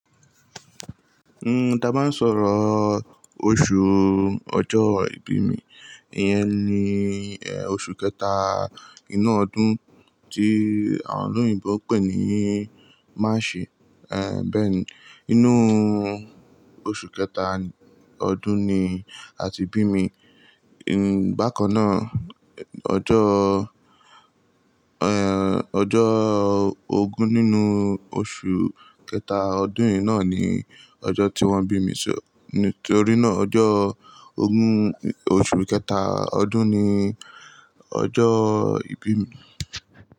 N, ta bá ń sọ̀rọ̀, Oṣù Ọjọ́ ìbí mi, ìyẹn ni, e, oṣù kẹta inú ọdún tí àwọn olóyìnbo ń pè ní March. E, bẹ́ẹ̀ ni, inú oṣù kẹta ọdún ni a ti bí mi. N, bákan náà, ọjọ́, e, ọjọ́ ogún nínú oṣù kẹta ọdún yìí náà ni ọjọ́ tí wọ́n bí mi. Só, nítorí náà, ọjọ́ ogún oṣù kẹta ọdún ni ọjọ́ ìbí mi.